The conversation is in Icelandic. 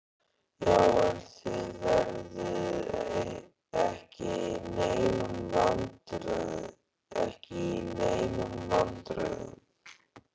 Já, en þið verðið ekki í neinum vandræðum.